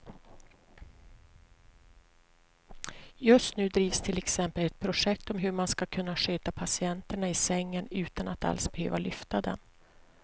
Just nu drivs till exempel ett projekt om hur man ska kunna sköta patienterna i sängen utan att alls behöva lyfta dem.